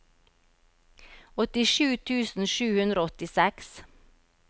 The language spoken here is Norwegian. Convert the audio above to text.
åttisju tusen sju hundre og åttiseks